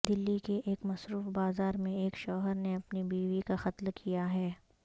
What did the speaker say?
دلی کے ایک مصروف بازار میں ایک شوہر نے اپنی بیوی کا قتل کیا ہے